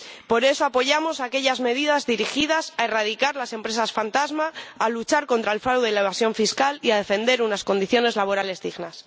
Por eso apoyamos aquellas medidas dirigidas a erradicar las empresas fantasma, a luchar contra el fraude y la evasión fiscal y a defender unas condiciones laborales dignas.